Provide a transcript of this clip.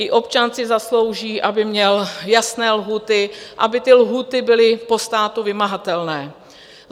I občan si zaslouží, aby měl jasné lhůty, aby ty lhůty byly po státu vymahatelné.